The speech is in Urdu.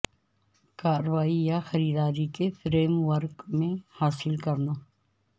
کارروائی یا خریداری کے فریم ورک میں حاصل کرنا